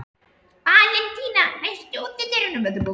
Valentína, læstu útidyrunum.